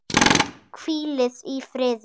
Hvílið í friði.